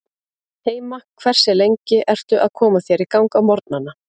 heima Hversu lengi ertu að koma þér í gang á morgnanna?